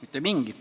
Mitte mingit.